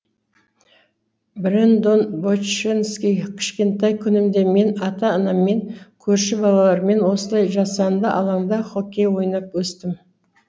брэндон боченски кішкентай күнімде мен ата анаммен көрші балалармен осылай жасанды алаңда хоккей ойнап өстім